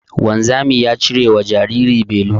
Wanzami ya cirewa jariri belu